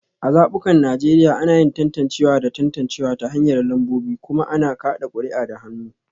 A zabukan Najeriya, ana yin tantancewa da tantancewa ta hanyar lambobi kuma ana kada kuri'a da hannu